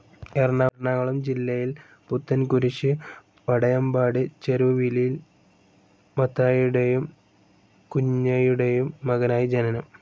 എറണാകുളം ജില്ലയിൽ പുത്തൻകുരിശ് വടയമ്പാടി ചെരുവിലിൽ മത്തായിയുടേയും കുഞ്ഞയുടെയും മകനായി ജനനം.